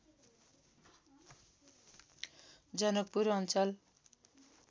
जनकपुर अञ्चल